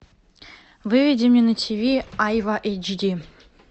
выведи мне на тв айва эйч ди